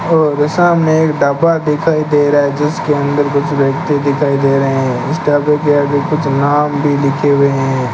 और सामने एक ढाबा दिखाई दे रहा है जिसके अंदर कुछ व्यक्ति दिखाई दे रहे है इस ढाबे के आगे कुछ नाम भी लिखे हुए है।